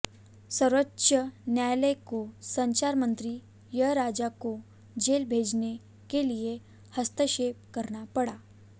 सर्वोच्च न्यायालय को संचार मंत्री ए राजा को जेल भेजने के लिए हस्तक्षेप करना पड़ा